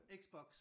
Xbox